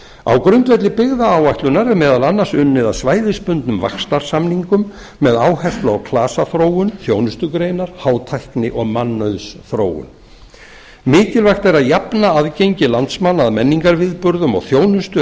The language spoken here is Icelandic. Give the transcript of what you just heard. á grundvelli byggðaáætlunar er meira að segja unnið að svæðisbundnum vaxtarsamningum með áherslu á klasaþróun þjónustugreinar hátækni og mannauðsþróun mikilvægt er að jafna aðgengi landsmanna að menningarviðburðum og þjónustu